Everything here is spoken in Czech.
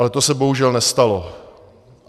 Ale to se bohužel nestalo.